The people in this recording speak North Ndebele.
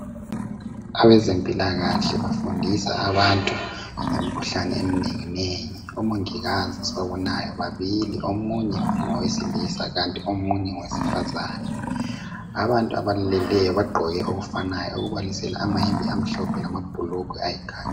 Abazempilakahle bafundisa abantu ngemikhuhlane eminenginengi. Omongikazi esibabonayo babili omunye ngowesilisa kanti omunye ngowesifazane. Abantu abamileyo bagqoke okufanayo okubalisela amayembe amhlophe lamabhulugwe ayikhakhi.